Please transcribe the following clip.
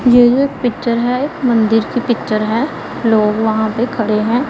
ये जो पिक्चर है मंदिर की पिक्चर है लोग वहां पे खड़े हैं।